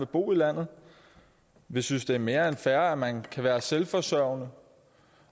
bo i landet vi synes det er mere end fair at man skal være selvforsørgende